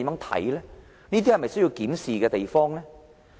這些是否需要檢視的地方呢？